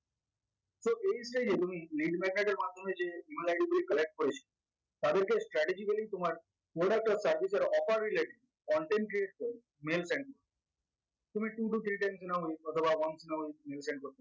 page টাই যে তুমি read maker এর মাধ্যমে যে email id গুলো collect করেছে তাদেরকে strategically তোমার মনে রাখতে হবে stratic এর oper relate content credit score mail send তুমি two two credidants নাওনি অথবা